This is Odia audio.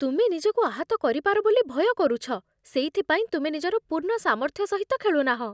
ତୁମେ ନିଜକୁ ଆହତ କରିପାର ବୋଲି ଭୟ କରୁଛ, ସେଇଥିପାଇଁ ତୁମେ ନିଜର ପୂର୍ଣ୍ଣ ସାମର୍ଥ୍ୟ ସହିତ ଖେଳୁ ନାହଁ ।